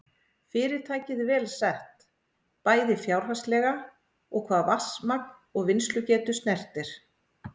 Fyrirtækið vel sett, bæði fjárhagslega og hvað vatnsmagn og vinnslugetu snertir.